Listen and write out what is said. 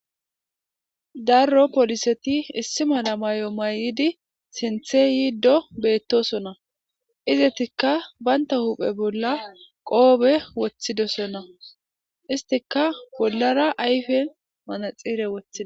Daro polisseti issi malla mayo mayidi izzetika bantawu huppe bolla kiffe woththidosona issitikka bollara ayiffen maratsine weththidda